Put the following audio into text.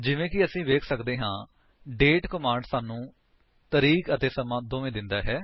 ਜਿਵੇਂ ਕਿ ਅਸੀ ਵੇਖ ਸਕਦੇ ਹਾਂ ਡੇਟ ਕਮਾਂਡ ਸਾਨੂੰ ਤਾਰੀਖ਼ ਅਤੇ ਸਮਾਂ ਦੋਵੇਂ ਦਿੰਦਾ ਹੈ